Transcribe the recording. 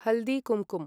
हल्दी कुम्कुं